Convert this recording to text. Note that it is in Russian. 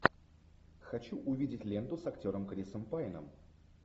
хочу увидеть ленту с актером крисом пайном